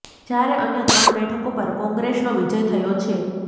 જ્યારે અન્ય ત્રણ બેઠકો પર કોંગ્રેસનો વિજય થયો છે